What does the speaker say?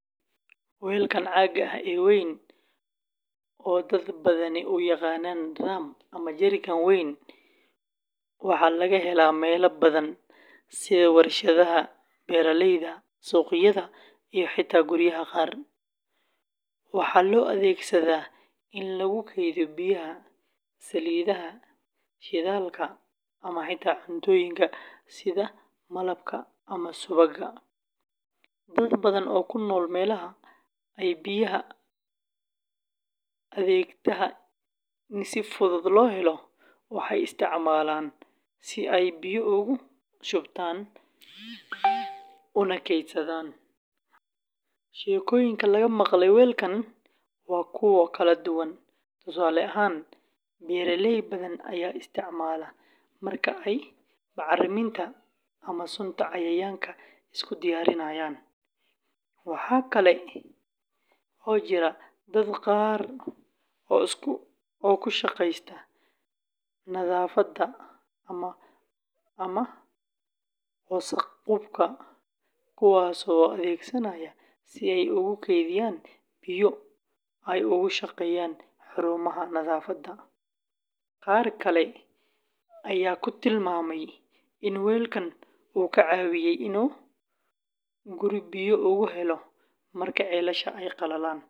Weelkan caagga ah ee weyn, oo dad badani u yaqaanaan drum and jerrycan weyn, waxaa laga helaa meelo badan sida warshadaha, beeralayda, suuqyada iyo xitaa guryaha qaar. Waxaa loo adeegsadaa in lagu kaydiyo biyaha, saliidaha, shidaalka, ama xitaa cuntooyinka sida malabka ama subagga. Dad badan oo ku nool meelaha ay biyaha adagtahay in si fudud loo helo waxay isticmaalaan si ay biyo ugu shubtaan una keydsadaan. Sheekooyinka laga maqlay weelkan waa kuwo kala duwan. Tusaale ahaan, beeraley badan ayaa isticmaala marka ay bacriminta ama sunta cayayaanka isku diyaarinayaan. Waxa kale oo jira dad qaar oo ku shaqeysta nadaafadda ama wasakh-qubka kuwaasoo adeegsanaya si ay ugu kaydiyaan biyo ay ugu shaqeeyaan xarumaha nadaafadda. Qaar kale ayaa ku tilmaamay in weelkan uu ka caawiyey inuu guri biyo ugu helo marka ceelasha ay qalaleen.